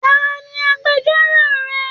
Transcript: Tani agbẹ̀jọ́ro rẹ?